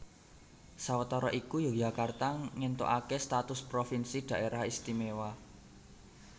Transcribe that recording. Sawetara iku Yogyakarta ngéntukaké status provinsi Dhaerah Istimewa